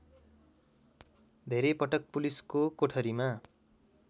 धेरैपटक पुलिसको कोठरीमा